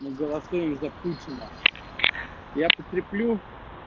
мы голосуем за путина я подкреплю